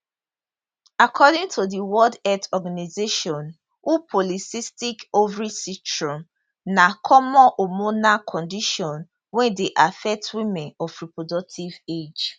according to di world health organisation who polycystic ovary syndrome na common hormonal condition wey dey affect women of reproductive age